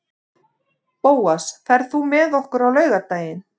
Bóas, ferð þú með okkur á laugardaginn?